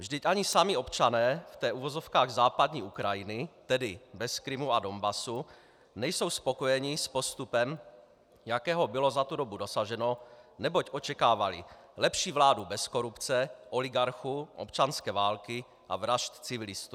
Vždyť ani sami občané té v uvozovkách západní Ukrajiny, tedy bez Krymu a Donbasu, nejsou spokojeni s postupem, jakého bylo za tu dobu dosaženo, neboť očekávali lepší vládu bez korupce, oligarchů, občanské války a vražd civilistů.